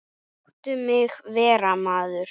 Láttu mig vera maður.